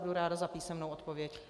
Budu ráda za písemnou odpověď.